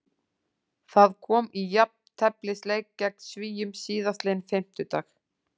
Það kom í jafnteflisleik gegn Svíum síðastliðinn fimmtudag.